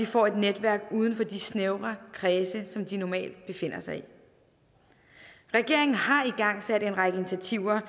får et netværk uden for de snævre kredse som de normalt befinder sig i regeringen har igangsat en række initiativer